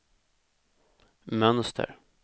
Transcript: mönster